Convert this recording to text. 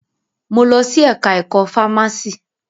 Mo lọ sí ẹka ẹ̀kọ́ fámási.